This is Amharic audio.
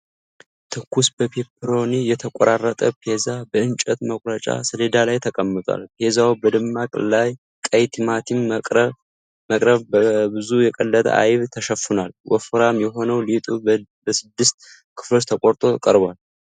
ትኩስ፣ በፔፐሮኒ የተቆራረጠ ፒዛ በእንጨት መቁረጫ ሰሌዳ ላይ ተቀምጧል። ፒዛው በደማቅ ቀይ ቲማቲም መረቅና በብዙ የቀለጠ አይብ ተሸፍኗል። ወፍራም የሆነው ሊጡ በስድስት ክፍሎች ተቆርጦ ቀርቧል።